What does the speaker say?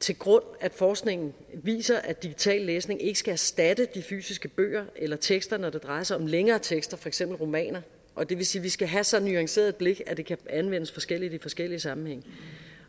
til grund at forskningen viser at digital læsning ikke skal erstatte de fysiske bøger eller tekster når det drejer sig om længere tekster for eksempel romaner og det vil sige at vi skal have så nuanceret et blik at det kan anvendes forskelligt i forskellige sammenhænge